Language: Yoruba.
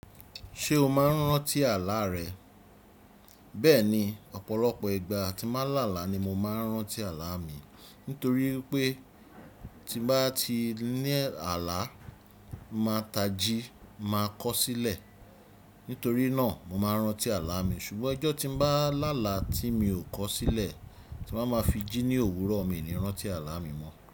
Ṣé o máa ń rántí àlá rẹ? Bẹ́ẹ̀ni, ọ̀pọ̀lọpọ̀ ìgbà tí ń ba làlá ni mo máa ń rántí àlá mi. Nítorí pé tí n bá ti ní àlá, màá tají, màá kọ̀ ọ́ sílẹ̀. Nítorí náà mo máa ń rántí àlá mi. Ṣùgbọ́n ijọ́ tí n bá làlà tí mi ò kọ̀ ọ́ sílẹ̀ tí màá máa fi jí ní òwúrọ̀ miu ni n rántí àlá mi mọ́